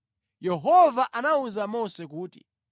Yehova anawuza Mose kuti,